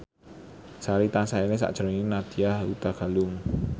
Sari tansah eling sakjroning Nadya Hutagalung